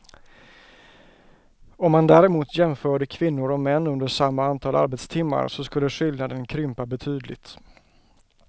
Om man däremot jämförde kvinnor och män under samma antal arbetstimmar så skulle skillnaden krympa betydligt.